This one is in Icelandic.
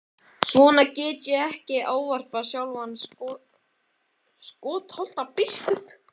Svona get ég ekki ávarpað sjálfan Skálholtsbiskup!